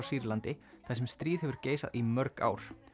Sýrlandi þar sem stríð hefur geisað í mörg ár